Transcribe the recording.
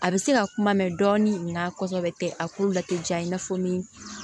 A bɛ se ka kuma mɛn dɔɔnin nka kosɛbɛ a k'u late diya i n'a fɔ ni